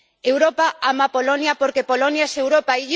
Europa ama Polonia porque Polonia es Europa.